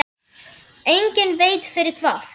Enginn veit fyrir hvað.